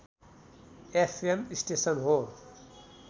FM station हो